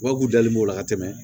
Wa k'u dalen b'o la ka tɛmɛ